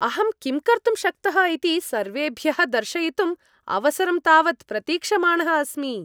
अहं किं कर्तुं शक्तः इति सर्वेभ्यः दर्शयितुम् अवसरं तावत् प्रतीक्षमाणः अस्मि।